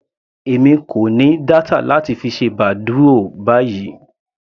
Èmi kò ní data láti fi ṣe badoo báyìí.